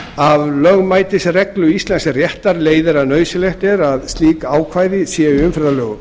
af lögmætisreglu íslensks réttar leiðir að nauðsynlegt er að slíkt ákvæði sé